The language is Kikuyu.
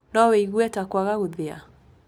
No wĩigue ta kwaga gũthĩa.